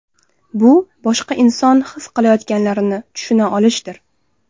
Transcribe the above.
Bu boshqa odam his qilayotganlarini tushuna olishdir.